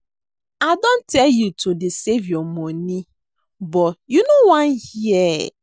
I don tell you to dey save your money but you no wan hear